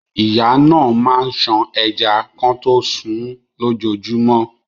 Ìyá náà máa ń ṣan ẹja kọtó sunún lójojúmọ́.